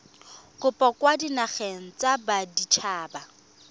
kopo kwa dinageng tsa baditshaba